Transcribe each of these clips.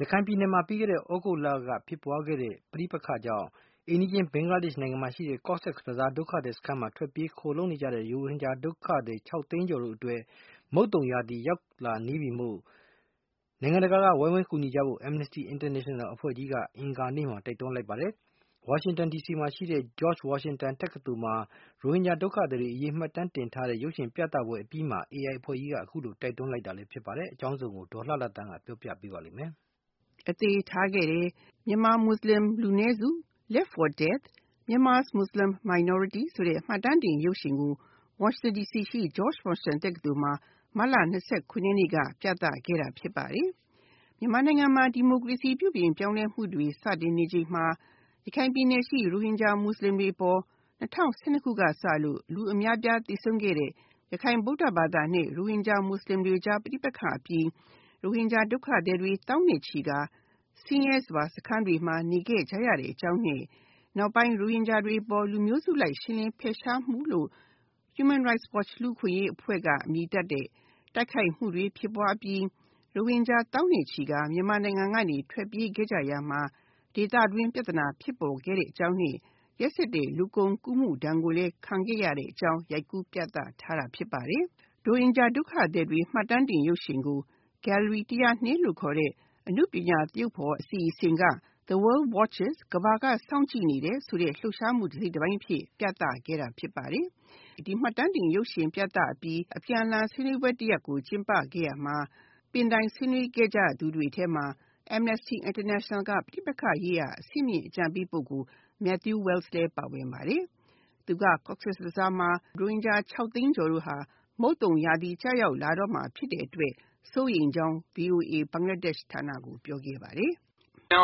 ရခိုင်ပြည်နယ်မှာ ပြီးခဲ့တဲ့ သြဂုတ်လက ဖြစ်ပွားခဲ့တဲ့ ပဋိပက္ခကြောင့် အိမ်နီးချင်း ဘင်္ဂလားဒေ့ရှ်နိုင်ငံမှာရှိတဲ့ Cox's Bazar ဒုက္ခသည်စခန်းမှာ ထွက်ပြေးခိုလုံနေတဲ့ ရိုဟင်ဂျာ ဒုက္ခသည် ၆ သိန်းကျော်အတွက် မုတ်သုံရာသီရောက် လာတာကြောင့် နိုင်ငံတကာက ဝိုင်းဝန်းကူညီကြဖို့ Amnesty International က အင်္ဂါနေ့မှာ တိုက်တွန်းလိုက်ပါတယ်။ ဝါရှင်တန် ဒီစီမှာရှိတဲ့ George Washington တက္ကသိုလ်မှာ ရိုဟင်ဂျာ ဒုက္ခသည်အရေးမှတ်တမ်းတင်ထားတဲ့ ရုပ်ရှင်ပြသရာမှာ AI အဖွဲ့က အခုလို တိုက်တွန်းလိုက်ပါတယ်။ အကြောင်းစုံကို ဒေါ်လှလှသန်းက ပြောပြမှာပါ။ အသေထားခဲ့တယ် -မြန်မာမွတ်စလင် လူနည်းစု (Left for Dead: Myanmar’s Muslim Minority ) ဆိုတဲ့ မှတ်တမ်းရုပ်ရှင်ကို တိုက်တွန်းလိုက်ပါတယ်။ ဝါရှင်တန် ဒီစီမှာရှိတဲ့ George Washington တက္ကသိုလ်မှာ မတ်လ ၂၇ ရက်နေ့က ပြသခဲ့တာဖြစ်ပါတယ်။ မြန်မာနိုင်ငံမှာ ဒီမိုကရေစီ ပြုပြင်ပြောင်းလဲမှုတွေ စတင်နေချိန်မှာ ရခိုင်ပြည်နယ်ရှိ ရိုဟင်ဂျာမွတ်စလင်တွေအပေါ် ၂၀၁၂ တုန်းကစပြီး လူအများအပြားသေဆုံးခဲ့တဲ့ ရခိုင်နှင့် ရိုဟင်ဂျာမွတ်စလင်တွေအကြား ပဋိပက္ခအပြင် ရိုဟင်ဂျာ ဒုက္ခသည် သောင်းနဲ့ချီပြီး ဆင်းရဲစွာ စခန်းတွေမှာ နေခဲ့ကြရတဲ့ အကြောင်းနဲ့ ရခိုင်ရိုဟင်ဂျာတွေအပေါ် လူမျိုးစုလိုက်ရှင်းလင်းဖယ်ရှားမှုလို့ Human Rights Watch လူ့အခွင့်အရေးအဖွဲ့က အမည်တပ်တဲ့ တိုက်ခိုက်မှုတွေဖြစ်ပွားအပြီး ရိုဟင်ဂျာတွေသောင်းနဲ့ချီကာ မြန်မာနိုင်ငံကနေ ထွက်ပြေးခဲ့ကြရာမှာ ဒီပြဿနာ ဖြစ်ပေါ်ခဲ့တဲ့အကြောင်းနဲ့ ရက်စက်တဲ့ လူကုန်ကူးမှုဒဏ်ကိုလည်း ခံခဲ့ရတဲ့အကြောင်း ရိုက်ကူးပြသထားတာဖြစ်ပါတယ်။ ရိုဟင်ဂျာ ဒုက္ခသည်တွေရဲ့ မှတ်တမ်းတင်ရုပ်ရှင်ကို Gallery 102 ခေါ် အနုပညာသရုပ်ဖော်အစီအစဉ်က The World Watches ကမ္ဘာက စောင့်ကြည့်နေတဲ့ လှုပ်ရှားမှု တစိတ်တပိုင်းအဖြစ် ပြသခဲ့တာဖြစ်ပါတယ်။ မှတ်တမ်းတင်ရုပ်ရှင်ပြသအပြီး အပြန်အလှန်ဆွေးနွေးပွဲ တရပ်ကို ကြည့်ရာမှာ ပင်တိုင်ဆွေးနွေးခဲ့ကြသူတွေထဲမှာ Amnesty International က ပဋိပက္ခရေးရာ အဆင့်မြင့်ပုဂိုလ် Matthew Wells လည်းပါဝင်ပါတယ်။ Cox's Bazar ဒုက္ခသည်စခန်းမှာရိုဟင်ဂျာ ဒုက္ခသည် ၆ သိန်းကျော်ဟာ မုတ်သုံရာသီရောက် လာတာကြောင့် စိုးရိမ်ကြောင်း သူက VOA ဘင်္ဂလားဒေ့ရှ်ဌာနကို ပြောခဲ့ပါတယ်။ “အ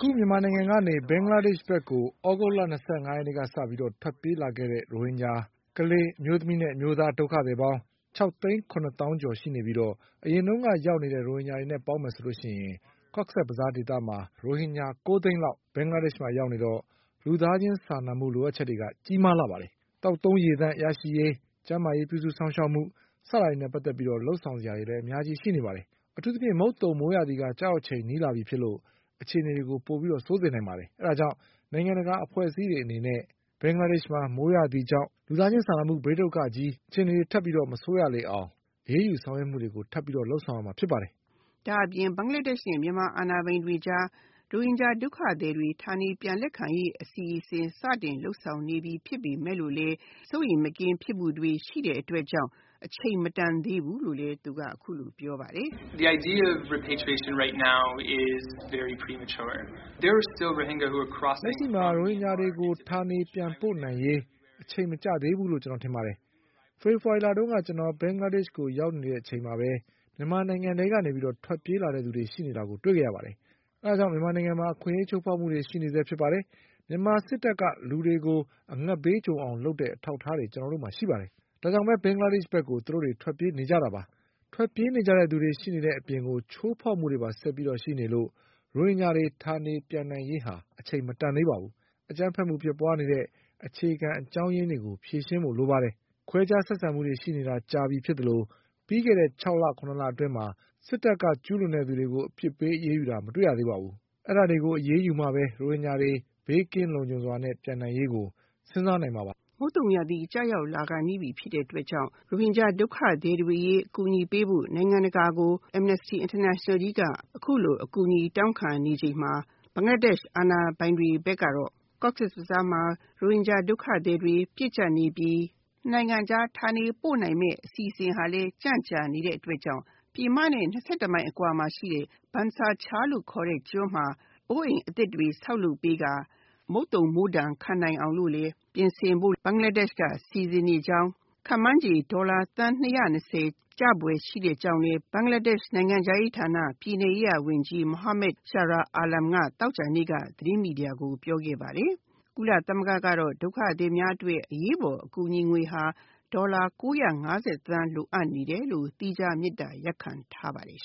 ခု မြန်မာနိုင်ငံကနေ ဘင်္ဂလားဒေ့ရှ် ဘက်ကို သြဂုတ်လ ၂၅ ရက်နေ့ကစလို့ ထွက်ပြေးလာခဲ့ကြတဲ့ ရိုဟင်ဂျာ ကလေး၊ မိန်းမနဲ့ ယောင်္ကျား ဒုက္ခသည်ပေါင်း ၆ သိန်း ၇ သောင်း ကျော်ရှိပြီး အရင်က ရောက်နေတဲ့ ရိုဟင်ဂျာတွေနဲ့ ပေါင်းရင် Cox’s Bazar ဒေသမှာ ရိုဟင်ဂျာ ၉ သိန်းလောက် ဘင်္ဂလားဒေ့ရှ်မှာ ရောက်နေတော့ လူသားချင်းစာနာမှု လိုအပ်ချက်တွေက ကြီးမားလှပါတယ်။ သောက်သုံးရေသန့်ရရှိရေး၊ ကျန်းမာရေး ပြုစုစောင့်ရှောက်မှု၊ စတာတွေနဲ့ ပတ်သက်လို့ လုပ်ဆောင်စရာတွေက အများကြီး ရှိပါတယ်။ အထူးသဖြင့် မုတ်သုန် မိုးရာသီ ကျရောက်ချိန်က နီးလာပြီမို့ အခြေနေကို ပိုပြီး ဆိုစေနိုင်ပါတယ်။ ဒါ့ကြောင့် နိုင်ငံတကာ အဖွဲ့အစည်း အနေနဲ့ ဘင်္ဂလားဒေ့ရှ်မှာ မိုးရာသီကြောင့် လူသားချင်းစာနာမှု ဘေးဒုက္ခကြီး အခြေအနေ ထပ်ပြီးမဆိုးရလေအောင် အရေးယူ ဆောင်ရွက်မှုတွေ ထပ်လုပ်ဆောင်ပေးရမှာ ဖြစ်ပါတယ်။” ဒါ့အပြင် ဘင်္ဂလားဒေ့ရှ်နဲ့ မြန်မာအာဏာပိုင်တွေကြား ရိုဟင်ဂျာ ဒုက္ခသည်တွေကို ဌာနေပြန်လက်ခံရေး အစီအစဉ်ကို စတင်လုပ်ဆောင်နေပြီဖြစ်ပေမယ့် စိုးရိမ်မကင်းဖြစ်မှုတွေရှိတဲ့အတွက်ကြောင့် အချိန်မတန်သေးဘူးလို့ အခုလိုပြောပါတယ်။ “လက်ရှိမှာ ရိုဟင်ဂျာတွေကို ဌာနေပြန်ပို့ နိုင်ရေးမှာ အချိန်မကျသေးဘူးလို့ ကျွန်တော်ထင်ပါတယ်။ ဖေဖေါ်ဝါရီလက ကျနော် ဘင်္ဂလားဒေ့ရှ်ကို ရောက်ရှိစဉ် နေ့စဉ်ပဲ မြန်မာနိုင်ငံကနေ ထွက်ပြေး လာသူတွေ ရှိနေတာကို တွေ့ခဲ့ရပါတယ်။ ဒါ့ကြောင့် မြန်မာနိုင်ငံမှာ ချိုးဖေါက်မှုတွေ ရှိနေဆဲ ဖြစ်ပါတယ်။ မြန်မာစစ်တပ်က လူတွေကို အငတ်ဘေးကြုံအောင် လုပ်တဲ့ အထောက်အထားတွေ ကျနော်တို့မှာ ရှိပါတယ်။ ဒ့ါကြောင့် ဘင်္ဂလားဒေ့ရှ်ကို သူတို့ ထွက်ပြေးနေကြတာပါ။ ထွက်ပြေးနေကြသူတွေ ရှိနေတဲ့ အပြင် ချိုးဖေါက်မှုတွေပါ ဆက်ရှိနေတဲ့ အတွက် ရိုဟင်ဂျာတွေ ဌာနေပြန်နိုင်ရေးဟာ အချိန်မတန်သေးပါဘူး။ အကြမ်းဖက်မှုဖြစ်ပွါးနေတဲ့ အခြေခံ အကြောင်းရင်းတွေကို ဖြေရှင်းဖို့ လိုပါတယ်။ ခွဲခြားဆက်ဆံမှု ဖြစ်နေတာ ကြာပြီဖြစ်သလို ပြီးခဲ့တဲ့ ၆ လ ၇ လ အတွင်း စစ်တပ်က ကျူးလွန်သူတွေကို အပြစ်ပေး အရေးယူတာ မတွေ့ရပါဘူး။ အဲဒါတွေကို အရေးယူမှပဲ ရိုဟင်ဂျာတွေ ဘေးကင်းလုံခြုံစွာ ပြန်နိုင်ရေးကို စဉ်းစားနိုင်မှာ ဖြစ်ပါတယ်။” မုတ်သုံရာသီကျရောက် လာဖို့နီးပြီဖြစ်တဲ့အတွက်ကြောင့် ရိုဟင်ဂျာဒုက္ခသည်တွေကို အကူအညီပေးဖို့ Amnesty International က အခုလို အကူအညီတောင်းခံနေတဲ့အချိန်မှာ ဘင်္ဂလားဒေ့ရှ် အာဏာပိုင်တွေဘက်ကတော့ Cox’s Bazar မှာ ရိုဟင်ဂျာတွေပြည့်ကျပ်နေပြီး ၂ နိုင်ငံ ဌာနပို့နိုင်မယ့် အစီအစဉ်တွေလည်း ကြန့်ကြာနေတဲ့အတွက်ကြောင့် ပြည်မနဲ့ ၂၁ မိုင်အကွာမှာရှိတဲ့ Bhasan Char လို့ခေါ်တဲ့ ကျွန်းမှာ အိုးအိမ်အသစ်တွေ ဆောက်လုပ်ပေးကာ မုတ်သုံခံနိုင်အောင်လို့ ပြင်ဆင်ဖို့ ဘင်္ဂလားဒေ့ရှ်ဘက်က စီစဉ်နေကြောင်း ခန့်မှန်းချေ ဒေါ်လာ သန်း ၂၂၀ ကျဖွယ်ရှိကြောင်းလည်းဘင်္ဂလားဒေ့ရှ် နိုင်ငံခြားရေးဌာန ပြည်နယ်ရေးရာ ဝန်ကြီး Mohammed Shahriar Alamက သောကြာနေ့က သတင်းမီဒီယာကို ပြောခဲ့ပါတယ်။ ကုလသမဂ္ဂ ကတော့ ဒုက္ခသည်တွေအတွက် အရေးပေါ် အကူအညီငွေဟာ ဒေါ်လာ ၉၅၀ သန်း လိုအပ်နေတယ်လို့ သီးခြားမေတ္တာရပ်ခံထားပါတယ်